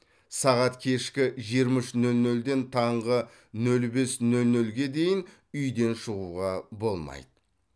сағат кешкі жиырма үш нөл нөлден таңғы нөл бес нөл нөлге дейін үйден шығуға болмайды